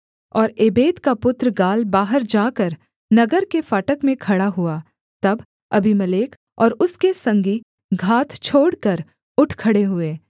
और एबेद का पुत्र गाल बाहर जाकर नगर के फाटक में खड़ा हुआ तब अबीमेलेक और उसके संगी घात छोड़कर उठ खड़े हुए